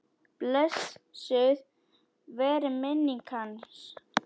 Blessuð veri minning hans.